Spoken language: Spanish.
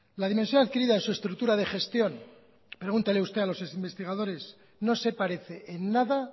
la dimensión adquirida es su estructura de gestión pregunte usted a los investigadores no se parece en nada